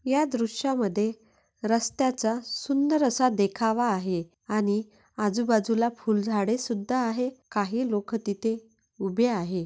या दृश्यामध्ये रस्त्याचा सुंदर असा देखावा आहे आणि आजूबाजूला फूल झाडे सुद्धा आहे काही लोक तिथे उभे आहे.